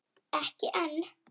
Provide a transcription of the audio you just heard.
Ekki enn.